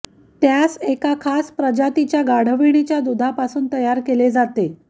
त्यास एका खास प्रजातीच्या गाढविणीच्या दुधापासून तयार केले जाते